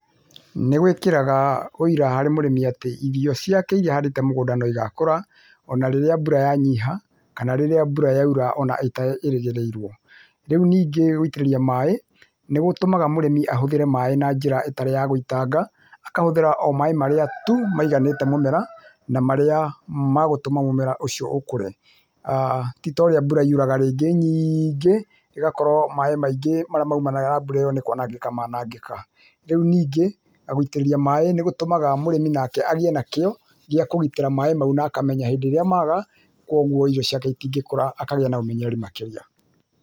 Nĩgwĩkĩraga ũira harĩ mũrĩmi atĩ irio ciake iria ahandĩte mũgũnda noigakũra ona rĩrĩa mbura yanyiha kana rĩrĩa mbura yaũra ona ĩtarĩgĩrĩirwo, rĩu nĩngĩ gwĩtĩriria maĩ nĩgũtũmaga mũrĩmĩ ahũthĩre maĩ na njĩra ĩtarĩ ya gũitanga akahũthĩra oh maĩ marĩa tu maiganĩte mũmera na marĩa ma gũtũmaga mũmera ũcio ũkũre, ti torea ũrĩa mbura nyingĩ ĩgakorwa maĩ maingĩ marĩa maumanaga na mbura ĩyo nĩkwanangĩka manangĩka, rĩu ningĩ gũitĩrĩria maĩ mũrĩmi nake agĩe na kĩo ya kũgitĩra maĩ mau na akamenya hĩndĩ ĩrĩa maga kwoguo irio ciake itingĩkũra akagĩa na ũmenyeri makĩria.